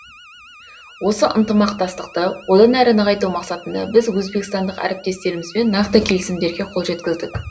осы ынтымақтастықты одан әрі нығайту мақсатында біз өзбекстандық әріптестерімізбен нақты келісімдерге қол жеткіздік